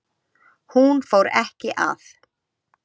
Hún fór ekki að